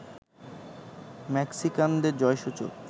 মেক্সিকানদের জয়সূচক